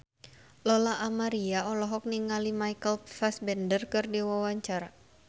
Lola Amaria olohok ningali Michael Fassbender keur diwawancara